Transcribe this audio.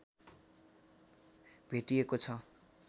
भेटिएको छ